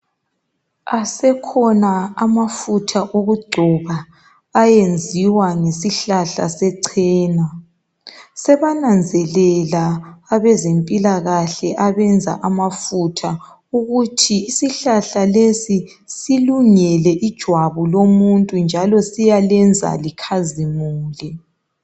Asekhona amafutha okugcoba ayenziwa ngesihlahla sechena, sebananzelela abezempilakahle abenza amafutha ukuthi isihlahla lesi silungele ijwabu lomuntu njalo siyalenza likhazimule.